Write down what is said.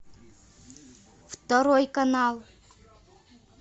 второй канал